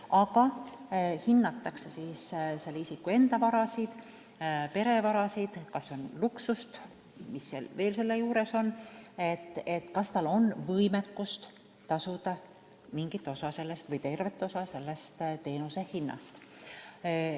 Aga hinnatakse isiku enda vara, pere vara, kas on luksust ja kas on võimekust tasuda mingi osa või terve osa teenusehinnast.